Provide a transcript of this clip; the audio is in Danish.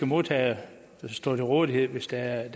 modtagere stå til rådighed hvis der er